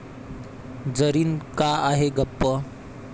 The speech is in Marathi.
जरीन का आहे गप्प?